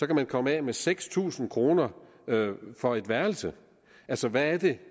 kan man komme af med seks tusind kroner for et værelse altså hvad er det